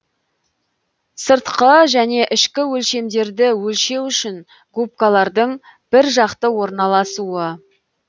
сыртқы және ішкі өлшемдерді өлшеу үшін губкалардың бір жақты орналасуы